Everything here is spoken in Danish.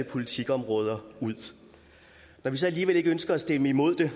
politikområder ud når vi så alligevel ikke ønsker at stemme imod det